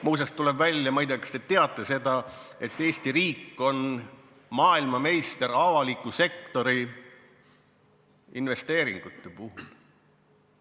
Muuseas, tuleb välja – ma ei tea, kas te teate seda –, et Eesti riik on maailmameister avaliku sektori investeeringute poolest.